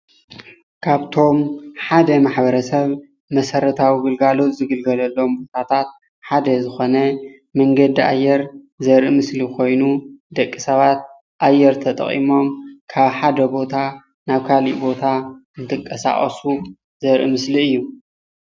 ካብቶም ሓደ ማሕበረሰብ መሰረታዊ ግልጋሎት ዝግልገለሎም ቦታታት ሓደ ዝኮነ ማንገዲ ኣየር ዘርኢ ምስሊ ኮይኑ ደቂ ሰባት ኣየር ተጠቂሞም ካብ ሓደ ቦታ ናብ ካልእ ቦታ እንትንቀሳቀሱ ዘርኢ ምስሊ እዩ፡፡